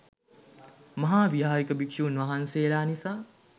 මහාවිහාරික භික්‍ෂූන් වහන්සේලා නිසා